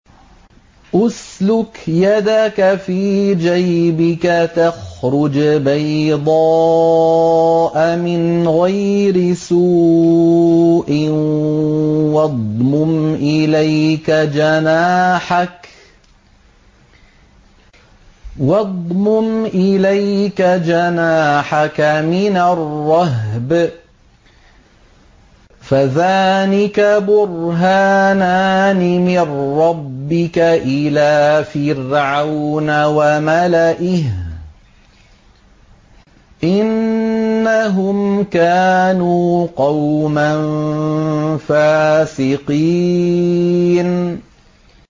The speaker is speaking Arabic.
اسْلُكْ يَدَكَ فِي جَيْبِكَ تَخْرُجْ بَيْضَاءَ مِنْ غَيْرِ سُوءٍ وَاضْمُمْ إِلَيْكَ جَنَاحَكَ مِنَ الرَّهْبِ ۖ فَذَانِكَ بُرْهَانَانِ مِن رَّبِّكَ إِلَىٰ فِرْعَوْنَ وَمَلَئِهِ ۚ إِنَّهُمْ كَانُوا قَوْمًا فَاسِقِينَ